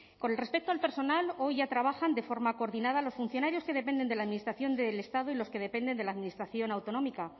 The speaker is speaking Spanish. con respecto al personal hoy ya trabajan de forma coordinada los funcionarios que dependen de la administración del estado y los que dependen de la administración autonómica